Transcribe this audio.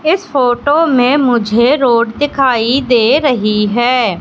इस फोटो में मुझे रोड दिखाई दे रहीं हैं।